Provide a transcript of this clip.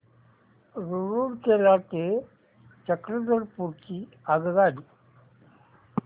रूरकेला ते चक्रधरपुर ची आगगाडी